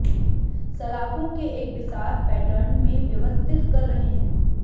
सलाखों के एक बिसात पैटर्न में व्यवस्थित कर रहे हैं